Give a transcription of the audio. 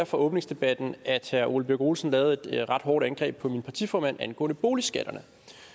fra åbningsdebatten at herre ole birk olesen lavede et ret hårdt angreb på min partiformand angående boligskatterne